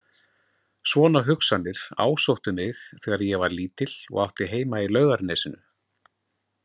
Svona hugsanir ásóttu mig þegar ég var lítil og átti heima í Laugarnesinu.